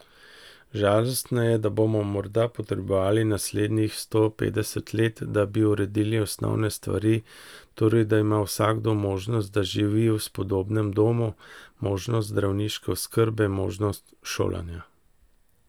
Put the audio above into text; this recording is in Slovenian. Žalostno je, da bomo morda potrebovali naslednjih sto petdeset let, da bi uredili osnovne stvari, torej da ima vsakdo možnost, da živi v spodobnem domu, možnost zdravniške oskrbe, možnost šolanja ...